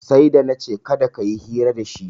Sai da na ce kada ka yi hira dashi